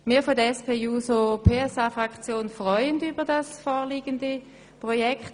Wir von der SP-JUSO-PSA-Fraktion freuen uns über das vorliegende Projekt.